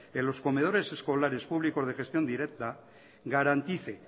en los comedores escolares públicos de gestión directa garantice